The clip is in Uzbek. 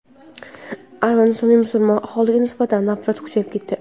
Armanistonda musulmon aholiga nisbatan nafrat kuchayib ketdi.